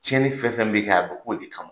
Cɛnni fɛn fɛn bɛ kɛ, a bɛ k'o de kama.